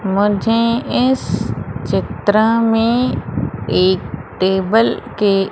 मुझे इस चित्र में एक टेबल के--